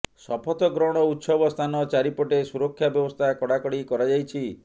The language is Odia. ଶପଥ ଗ୍ରହଣ ଉତ୍ସବ ସ୍ଥାନ ଚାରିପଟେ ସୁରକ୍ଷା ବ୍ୟବସ୍ଥା କଡ଼ାକଡ଼ି କରାଯାଇଛି